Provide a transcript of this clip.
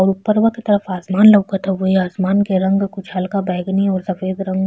और उपरवा के तरफ आसमान लउकत हउए। आसमान के रंग कुछ हल्का बैगनी और सफ़ेद रंग --